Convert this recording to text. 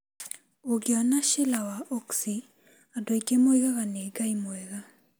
Ũngĩona Sheela wa Oaksey, andũ aingĩ moigaga nĩ ngai mwega.'